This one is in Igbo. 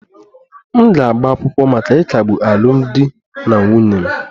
M ga-agba akwụkwọ maka ịkagbu alụmdi na nwunye m